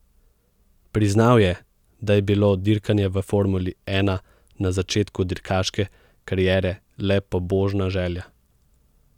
Priznal je, da je bilo dirkanje v formuli ena na začetku dirkaške kariere le pobožna želja.